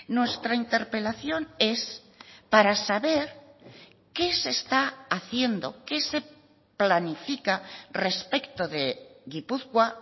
nuestra interpelación es para saber qué se está haciendo qué se planifica respecto de gipuzkoa